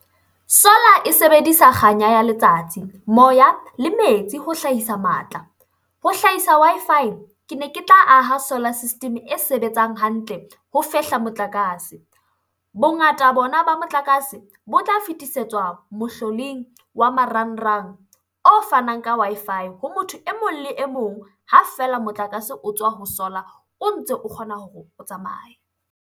Solar e sebedisa kganya ya letsatsi, moya le metsi ho hlahisa matla. Ho hlahisa Wi-Fi, kene ke tla aha solar system e sebetsang hantle ho fehla motlakase. Bongata bona ba motlakase bo tla fetisetswa mohloding wa marangrang o fanang ka Wi-Fi ho motho e mong le e mong ha feela motlakase o tswa ho solar o ntse o kgona hore o tsamaye.